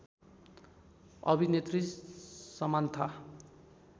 अभिनेत्री समान्था